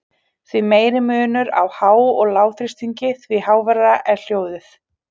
Því meiri munur á há- og lágþrýstingi, því háværara er hljóðið.